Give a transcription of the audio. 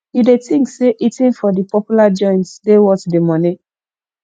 you dey think say eating for di popular joints dey worth di money